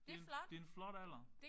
Det en det en flot alder